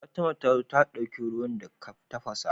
Fatima tazo ta dauki ruwan da ka tafasa